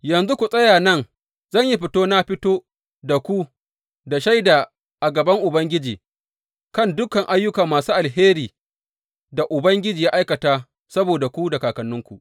Yanzu ku tsaya nan zan yi fito na fito da ku da shaida a gaban Ubangiji kan dukan ayyuka masu alherin da Ubangiji ya aikata saboda ku da kakanninku.